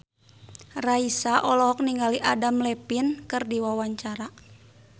Raisa olohok ningali Adam Levine keur diwawancara